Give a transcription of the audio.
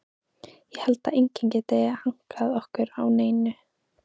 Ég held að enginn geti hankað okkur á neinu.